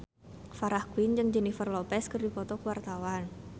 Farah Quinn jeung Jennifer Lopez keur dipoto ku wartawan